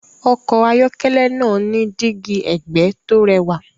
Ọkọ̀ ayọ́kẹ́lẹ́ náà ní dígí ẹ̀gbẹ́ tó rẹwà.